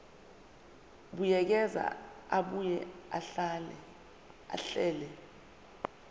buyekeza abuye ahlele